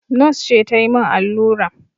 Nos ce ta yi min allura